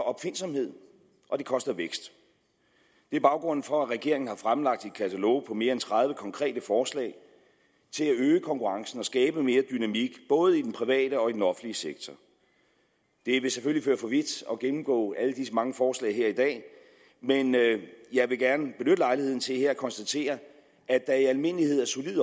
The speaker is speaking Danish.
opfindsomheden og det koster vækst det er baggrunden for at regeringen har fremlagt et katalog med mere end tredive konkrete forslag til at øge konkurrencen og skabe mere dynamik både i den private og i den offentlige sektor det vil selvfølgelig føre for vidt at gennemgå alle disse mange forslag her i dag men jeg vil gerne benytte lejligheden til her at konstatere at der i almindelighed er solid